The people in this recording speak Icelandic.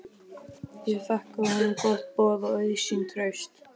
Ég þakkaði honum gott boð og auðsýnt traust.